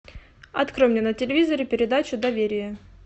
открой мне на телевизоре передачу доверие